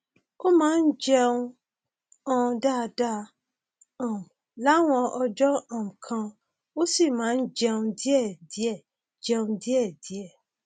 ó máa ń jẹun um dáadáa um láwọn ọjọ um kan ó sì máa ń jẹun díẹdíẹ jẹun díẹdíẹ